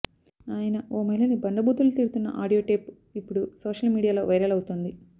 ఆయన ఓ మహిళని బండబూతులు తిడుతున్న ఆడియో టేప్ ఇప్పుడు సోషల్ మీడియాలో వైరల్ అవుతోంది